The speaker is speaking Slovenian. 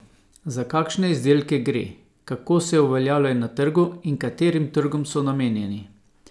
Za kakšne izdelke gre, kako se uveljavljajo na trgu in katerim trgom so namenjeni?